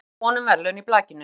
Enn von um verðlaun í blakinu